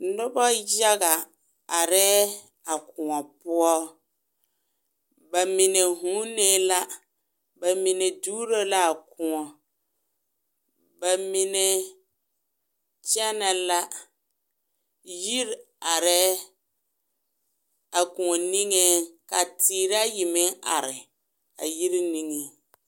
Noba yaga arɛɛ a koɔ poɔ bamine vūūnee la bamine duuroo la a koɔŋ bamine kyenɛɛ la yiri arɛɛ a koɔ niŋee ka teere a yi meŋ are a yiri niŋee.